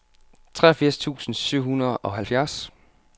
treogfirs tusind syv hundrede og halvfjerds